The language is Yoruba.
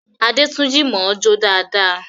Adétúnjí mọ̀ọ́ jó dáadáa